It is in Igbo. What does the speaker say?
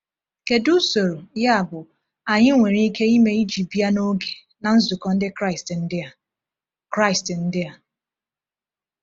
Kedu usoro, yabụ, anyị nwere ike ime iji bịa n’oge na nzukọ Ndị Kraịst ndị a? Kraịst ndị a?